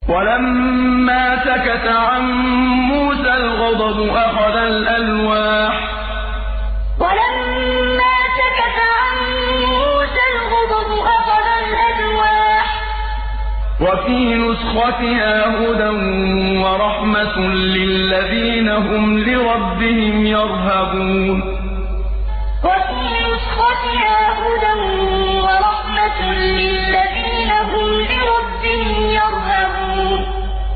وَلَمَّا سَكَتَ عَن مُّوسَى الْغَضَبُ أَخَذَ الْأَلْوَاحَ ۖ وَفِي نُسْخَتِهَا هُدًى وَرَحْمَةٌ لِّلَّذِينَ هُمْ لِرَبِّهِمْ يَرْهَبُونَ وَلَمَّا سَكَتَ عَن مُّوسَى الْغَضَبُ أَخَذَ الْأَلْوَاحَ ۖ وَفِي نُسْخَتِهَا هُدًى وَرَحْمَةٌ لِّلَّذِينَ هُمْ لِرَبِّهِمْ يَرْهَبُونَ